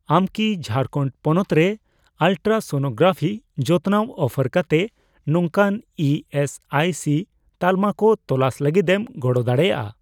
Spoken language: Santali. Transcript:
ᱟᱢ ᱠᱤ ᱡᱷᱟᱨᱠᱷᱚᱱᱰ ᱯᱚᱱᱚᱛ ᱨᱮ ᱟᱞᱴᱨᱟᱥᱚᱱᱳᱜᱨᱟᱯᱷᱤ ᱡᱚᱛᱱᱟᱣ ᱚᱯᱷᱟᱨ ᱠᱟᱛᱮ ᱱᱚᱝᱠᱟᱱ ᱤ ᱮᱥ ᱟᱭ ᱥᱤ ᱛᱟᱞᱢᱟ ᱠᱚ ᱛᱚᱞᱟᱥ ᱞᱟᱹᱜᱤᱫᱮᱢ ᱜᱚᱲᱚ ᱫᱟᱲᱮᱭᱟᱜᱼᱟ ᱾